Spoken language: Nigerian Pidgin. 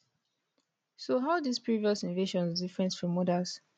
so how dis previous invasions different from odas